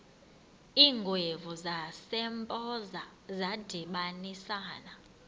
iingwevu zasempoza zadibanisana